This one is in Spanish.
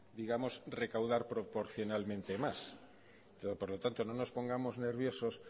digamos recaudar proporcionalmente más por lo tanto no nos pongamos nerviosos